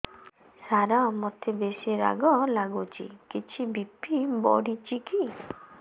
ସାର ମୋତେ ବେସି ରାଗ ଲାଗୁଚି କିଛି ବି.ପି ବଢ଼ିଚି କି